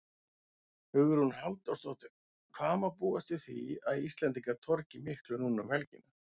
Hugrún Halldórsdóttir: Hvað má búast við því að Íslendingar torgi miklu núna um helgina?